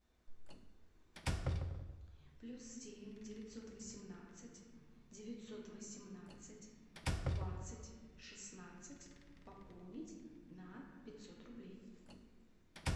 плюс семь девятьсот восемнадцать девятьсот восемнадцать двадцать шестнадцать пополнить на пятьсот рублей